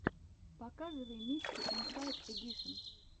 показывай миксы инсайд эдишен